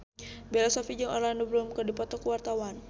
Bella Shofie jeung Orlando Bloom keur dipoto ku wartawan